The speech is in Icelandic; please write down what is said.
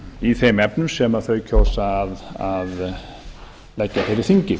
í þeim efnum sem þau kjósa að leggja fyrir þingið